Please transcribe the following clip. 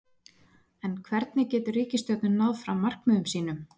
En hvernig getur ríkisstjórnin náð fram markmiðum sínum?